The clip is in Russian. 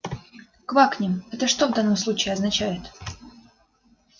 квакнем это что в данном случае означает